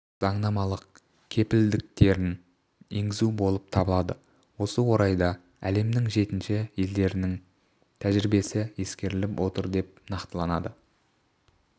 заңнамалық кепілдіктерін енгізу болып табылады осы орайда әлемнің жетекші елдерінің тәжірибесі ескеріліп отыр деп нақтылады